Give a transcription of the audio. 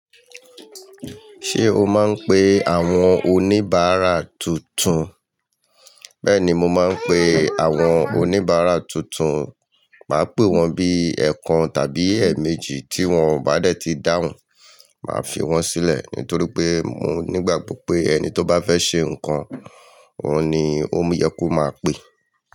Ṣé o máa ń pe àwọn oníbàárà tuntun? Bẹ́ẹ̀ni, mo máa ń pe àwọn oníbàárà tuntun. Màá pè wọ́n bí ẹ̀ẹ̀kan tàbí ẹ̀ẹ̀méjì tí wọ́n o bá dẹ̀ ti dáhùn, màá fi wọ́n sílẹ̀ nítorí pé mo nígbàgbọ́ pé ẹni tó bá fẹ́ ṣe nǹkan, òun ni ó yẹ kó máa pe.